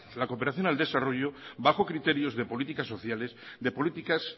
la cooperación al desarrollo bajo criterios de políticas sociales de políticas